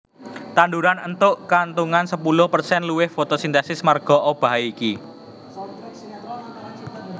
Tanduran éntuk kauntungan sepuluh persen luwih fotosintesis marga obahé iki